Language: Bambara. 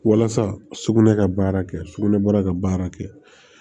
Walasa sugunɛ ka baara kɛ sugunɛbara ka baara kɛ